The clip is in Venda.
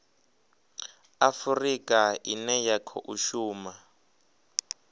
afurika ine ya khou shuma